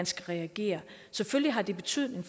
skal reagere selvfølgelig har det betydning